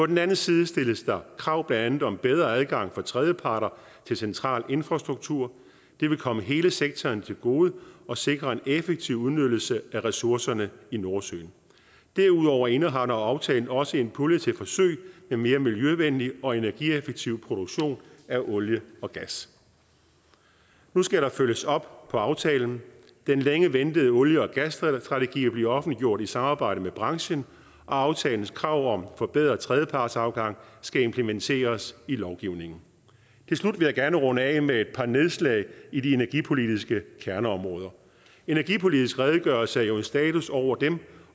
den anden side stilles der krav blandt andet om bedre adgang for tredjeparter til central infrastruktur det vil komme hele sektoren til gode og sikre en effektiv udnyttelse af ressourcerne i nordsøen derudover indeholder aftalen også en pulje til forsøg med mere miljøvenlig og energieffektiv produktion af olie og gas nu skal der følges op på aftalen den længe ventede olie og gasstrategi bliver offentliggjort i samarbejde med branchen og aftalens krav om forbedret tredjepartsafgang skal implementeres i lovgivningen til slut vil jeg gerne runde af med et par nedslag i de energipolitiske kerneområder energipolitisk redegørelse er jo en status over dem